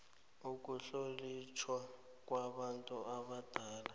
ukuhlonitjhwa kwabantu abadala